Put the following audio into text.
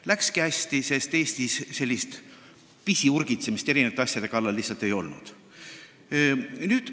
Läkski hästi, sest siis Eestis sellist pisiurgitsemist eri asjade kallal lihtsalt ei olnud.